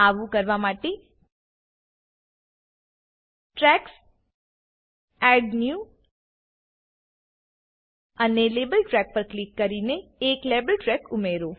આવું કરવા માટે ટ્રેક્સ એડ ન્યૂ અને લાબેલ ટ્રેક પર ક્લિક કરીને એક લેબલ ટ્રેક ઉમેરો